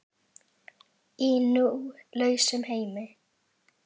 Í nú lausum heimi.